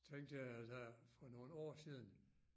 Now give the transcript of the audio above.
Så tænkte jeg der for nogle år siden